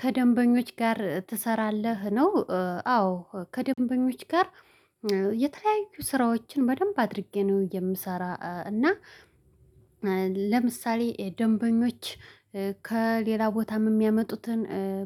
ከደንበኞች ጋር ትሰራለህ ነው? አዎ ከደንበኞች ጋር። የተለያዩ ስራዎችን በደንብ አድርጌ ነው የምሰራ። እና ለምሳሌ ደንበኞች ከሌላ ቦታም የሚያመጡትን